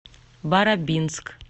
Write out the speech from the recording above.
барабинск